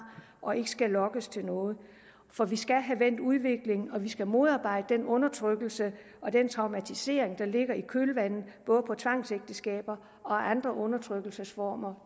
og ikke skal lokkes til noget for vi skal have vendt udviklingen og vi skal modarbejde den undertrykkelse og den traumatisering der følger i kølvandet på tvangsægteskaber og andre undertrykkelsesformer